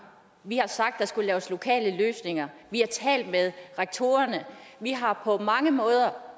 vi har sagt at der skulle laves lokale løsninger vi har talt med rektorerne vi har på mange måder